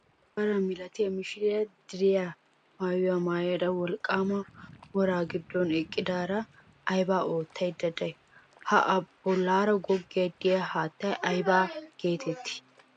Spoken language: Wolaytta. Issi shaara milatiya mishiriya diriya maayuwa maayada wolqqaama woraa giddon eqqidaara aybaa oottaydda de'ay? Ha bollaara goggiiddi de'iya haattay aybaa geetettii?